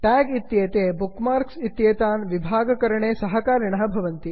tag इत्येते bookmarks इत्येतान् विभागकरणे सहकारिणः भवन्ति